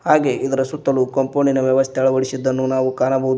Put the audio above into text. ಹಾಗೆ ಇದರ ಸುತ್ತಲು ಕಾಂಪೌಂಡಿನ ವ್ಯವಸ್ಥೆ ಅಳವಡಿಸಿದ್ದನ್ನು ಕಾಣಬಹುದು.